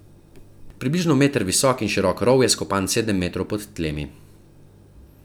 Približno meter visok in širok rov je skopan sedem metrov pod tlemi.